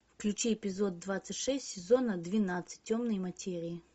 включи эпизод двадцать шесть сезона двенадцать темные материи